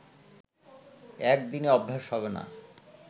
একদিনে অভ্যেস হবে না